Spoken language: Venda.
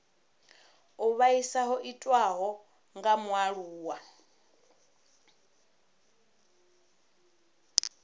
u vhaisa ho itiwaho kha mualuwa